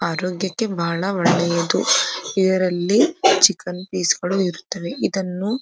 ಆರೋಗ್ಯಕ್ಕೆ ಬಹಳ ಒಳ್ಳೆಯದು ಇದರಲ್ಲಿ ಚಿಕನ್ ಪೀಸ್ ಗಳು ಇರುತ್ತವೆ ಇದನ್ನು --